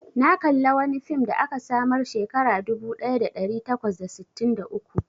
Na kalla wani fim da aka samar Shekara dubu daya da dari takwas da sitin da uku.